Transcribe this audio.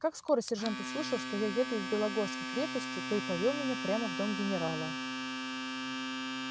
как скоро сержант услышал что я еду из белогорской крепости то и повёл меня прямо в дом генерала